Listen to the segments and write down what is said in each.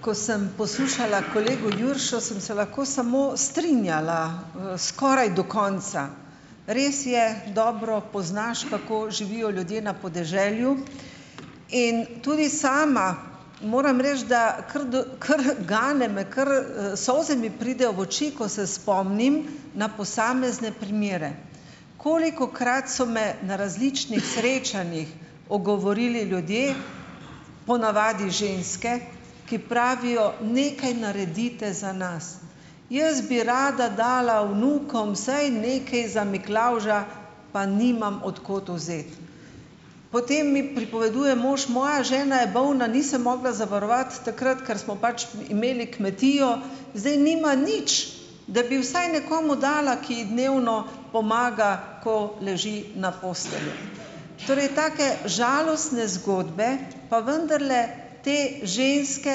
Ko sem poslušala kolego Juršo, sem se lahko samo strinjala, skoraj do konca. Res je, dobro poznaš, kako živijo ljudje na podeželju. In tudi sama moram reči, da, kar do, kar gane me, kar, solze mi pridejo v oči, ko se spomnim na posamezne primere. Kolikokrat so me na različnih srečanjih ogovorili ljudje, ponavadi ženske, ki pravijo: "Nekaj naredite za nas." Jaz bi rada dala vnukom vsaj nekaj za Miklavža, pa nimam od kod vzeti. Potem mi pripoveduje: "Mož, moja žena je bolna, ni se mogla zavarovati takrat, ker smo pač imeli kmetijo zdaj nima nič, da bi vsaj nekomu dala, ki ji dnevno pomaga, ko leži na postelji." Torej, take žalostne zgodbe pa vendarle te ženske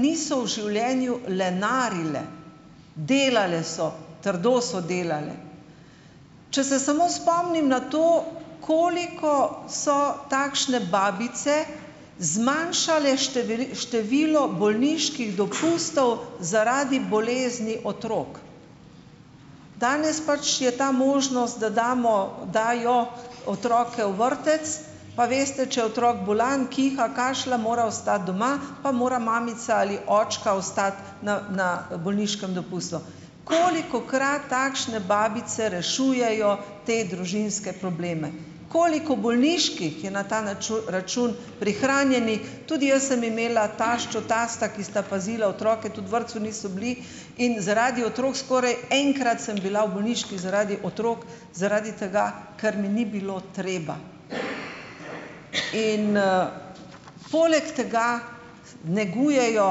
niso v življenju lenarile, delale so, trdo so delale. Če se samo spomnim na to, koliko so takšne babice zmanjšale število bolniških dopustov, zaradi bolezni otrok. Danes pač je ta možnost, da damo, dajo otroke v vrtec, pa veste, če otrok bolan, kiha, kašlja, mora ostati doma, pa mora mamica ali očka ostati na, na bolniškem dopustu. Kolikokrat takšne babice rešujejo te družinske probleme, koliko bolniških je na ta račun prihranjenih. Tudi jaz sem imela taščo, tasta, ki sta pazila otroke, tudi v vrtcu niso bili in zaradi otrok skoraj enkrat sem bila v bolniški, zaradi otrok, zaradi tega, ker mi ni bilo treba. In, ... Poleg tega negujejo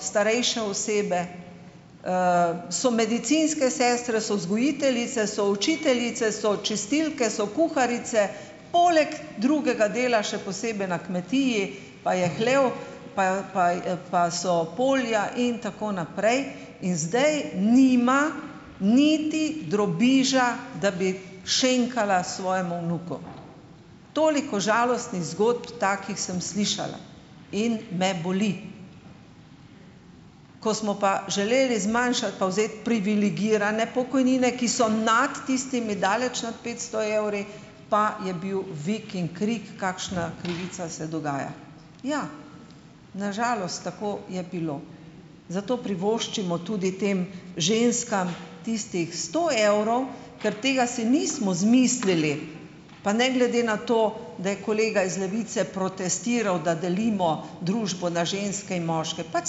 starejše osebe, so medicinske sestre, so vzgojiteljice, so učiteljice, so čistilke, so kuharice, poleg drugega dela še posebej na kmetiji pa je hlev, pa pa je, pa so polja in tako naprej. In zdaj nima niti drobiža, da bi šenkala svojemu vnuku. Toliko žalostnih zgodb takih sem slišala in me boli. Ko smo pa želeli zmanjšati pa vzeti privilegirane pokojnine, ki so nad tistimi, daleč nad petsto evri, pa je bil vik in krik, kakšna krivica se dogaja. Ja, na žalost tako je bilo, zato privoščimo tudi tem ženskam tistih sto evrov, ker tega si nismo izmislili pa ne glede na to, da je kolega iz Levice protestiral, da delimo družbo na ženske in moške. Pač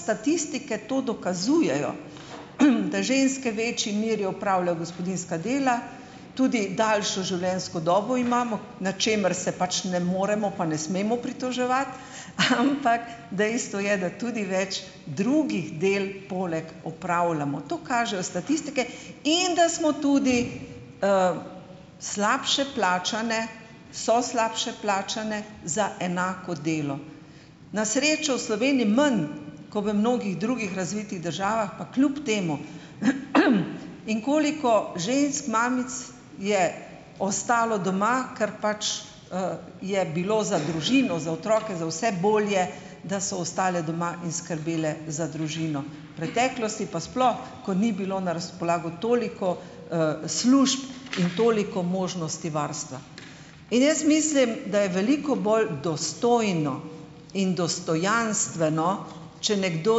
statistike to dokazujejo, da ženske večji meri opravljajo gospodinjska dela, tudi daljšo življenjsko delo imamo, na čemer se pač ne moremo pa ne smemo pritoževati, ampak dejstvo je, da tudi več drugih del poleg opravljamo. To kažejo statistike in da smo tudi, slabše plačane, so slabše plačane za enako delo. Na srečo v Sloveniji manj ko v mnogih drugih razvitih državah, pa kljub temu. In koliko žensk, mamic je ostalo doma, ker pač, je bilo za družino, za otroke za vse bolje, da so ostale doma in skrbele za družino, v preteklosti pa sploh, ko ni bilo na razpolago toliko, služb in toliko možnosti varstva. In jaz mislim, da je veliko bolj dostojno in dostojanstveno, če nekdo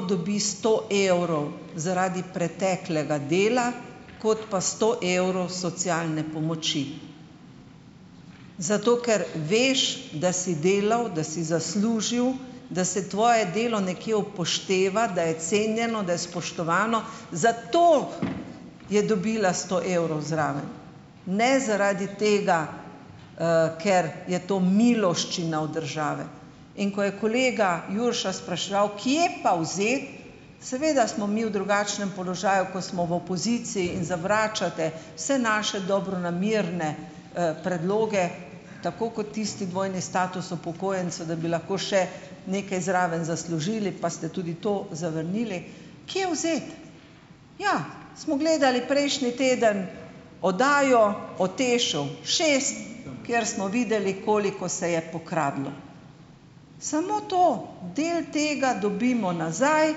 dobi sto evrov zaradi preteklega dela, kot pa sto evrov socialne pomoči. Zato ker veš, da si delal, da si zaslužil, da se tvoje delo nekje upošteva, da je cenjeno, da je spoštovano, zato je dobila sto evrov zraven, ne zaradi tega, ker je to miloščina od države. In ko je kolega Jurša spraševal, kje pa vzeti, seveda smo mi v drugačnem položaju, ko smo v opoziciji in zavračate vse naše dobronamerne, predloge, tako kot tisti dvojni status upokojenca, da bi lahko še nekaj zraven zaslužili, pa ste tudi to zavrnili. Kje vzeti? Ja, smo gledali prejšnji teden oddajo o TEŠ-u šest, kjer smo videli, koliko se je pokradlo. Samo to, del tega dobimo nazaj,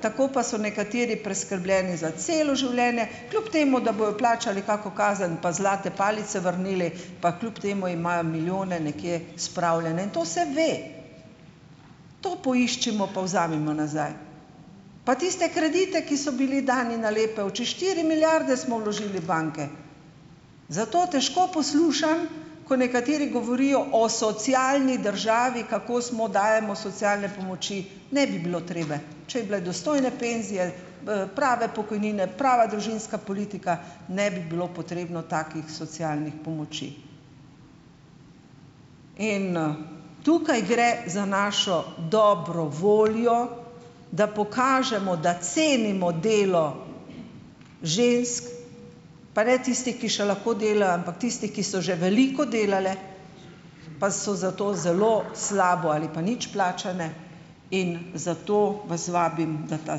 tako pa so nekateri preskrbljeni za celo življenje, kljub temu da bojo plačali kako kazen pa zlate palice vrnili, pa kljub temu imajo milijone nekje spravljene, to se ve. To poiščimo pa vzemimo nazaj, pa tiste kredite, ki so bili dani na lepe oči, štiri milijarde smo vložili v banke. Zato težko poslušam, ko nekateri govorijo o socialni državi, kako smo, dajemo socialne pomoči ... Ne bi bilo treba, če bi bile dostojne penzije, prave pokojnine, prava družinska politika, ne bi bilo potrebno takih socialnih pomoči. In, Tukaj gre za našo dobro voljo, da pokažemo, da cenimo delo žensk, pa ne tistih, ki še lahko delajo, ampak tistih, ki so že veliko delale, pa so zato zelo slabo ali pa nič plačane in zato vas vabim, da ta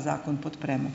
zakon podpremo.